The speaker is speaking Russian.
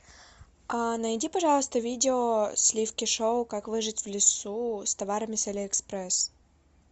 найди пожалуйста видео сливки шоу как выжить в лесу с товарами с алиэкспресс